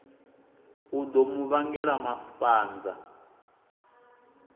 u ḓo mu vhangela mafhanza